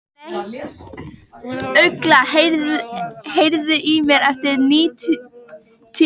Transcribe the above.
Ugla, heyrðu í mér eftir níutíu og þrjár mínútur.